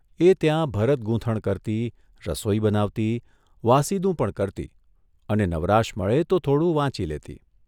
એ ત્યાં ભરત ગૂંથણ કરતી, રસોઇ બનાવતી, વાસીદું પણ કરતી અને નવરાશ મળે તો થોડું વાંચી લેતી.